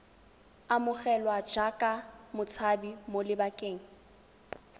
amogelwa jaaka motshabi mo lebakeng